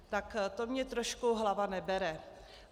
Tak to mně trošku hlava nebere.